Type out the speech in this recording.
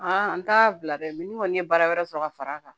an t'a bila dɛ ni kɔni ye baara wɛrɛ sɔrɔ ka far'a kan